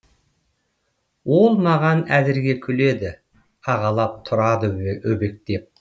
ол маған әзірге күледі ағалап тұрады өбектеп